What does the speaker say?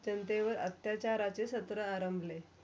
त्यांचावर अत्याचार